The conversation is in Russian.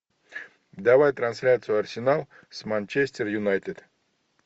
давай трансляцию арсенал с манчестер юнайтед